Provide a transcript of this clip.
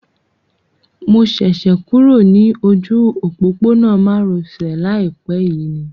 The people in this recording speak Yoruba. Mo ṣẹ̀ṣẹ̀ kúrò ní ojú òpópónà má ro sè láìpé yìí ni